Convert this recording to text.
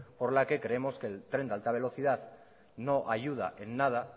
por la que creemos que el tren de alta velocidad no ayuda en nada